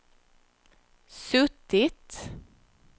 suttit